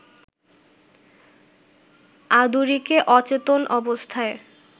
আদুরিকে অচেতন অবস্থায়